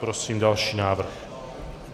Prosím další návrh.